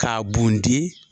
K'a bunte.